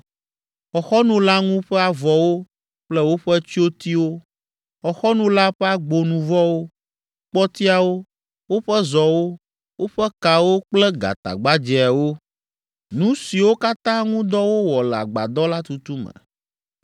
Xɔxɔnu la ŋu ƒe avɔwo kple woƒe tsyotiwo, xɔxɔnu la ƒe agbonuvɔwo, kpɔtiawo; woƒe zɔwo, woƒe kawo kple gatagbadzɛawo; nu siwo katã ŋu dɔ wowɔ le agbadɔ la tutu me.